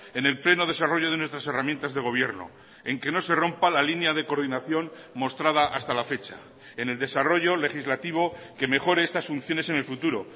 en el pleno desarrollo de nuestras herramientas de gobierno en que no se rompa la línea de coordinación mostrada hasta la fecha en el desarrollo legislativo que mejore estas funciones en el futuro